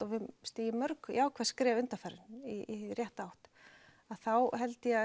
við höfum stigið mörg jákvæð skref undanfarið í rétta átt að þá held ég að